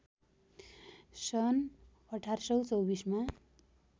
सन् १८२४ मा